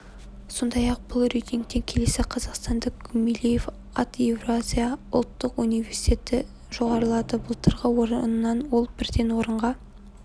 сондай-ақ бұл рейтингте келесі қазақстандық гумилев ат еуразия ұлттық университеті жоғарылады былтырғы орыннан ол бірден орынға